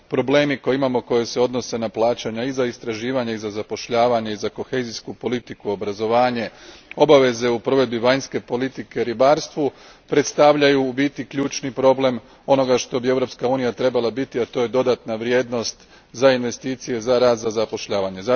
Problemi koje imamo koji se odnose na plaćanja i za istraživanja i za zapošljavanje i za kohezijsku politiku, obrazovanje, obaveze u provedbi vanjske politike, ribarstvu predstavljaju u biti ključni problem onoga što bi Europska unija trebala biti, a to je dodatna vrijednost za investicije, za rad, za zapošljavanje.